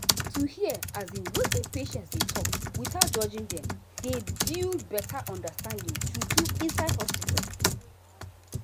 to hear um wetin patients dey talk without judging dem dey build better understanding true true inside hospital.